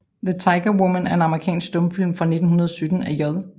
The Tiger Woman er en amerikansk stumfilm fra 1917 af J